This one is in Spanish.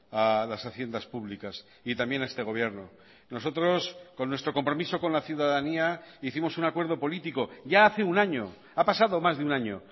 a las haciendas públicas y también a este gobierno nosotros con nuestro compromiso con la ciudadanía hicimos un acuerdo político ya hace un año ha pasado más de un año